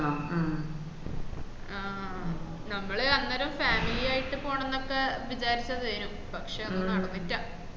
ആഹ് നമ്മള് അന്നേരം family ആയിട്ട് പോണോന്നൊക്കെ വിചാരിച്ചതെന്നും പക്ഷെ ഒന്നും നടന്നില്ല